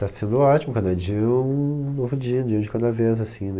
Tá sendo ótimo, cada dia é um novo dia, um dia de cada vez, assim, né?